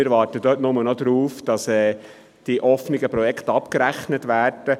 Wir warten nur noch darauf, dass die offenen Projekte abgerechnet werden.